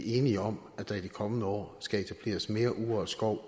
enige om at der i de kommende år skal etableres mere urørt skov